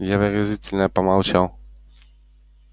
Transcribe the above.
я выразительно помолчал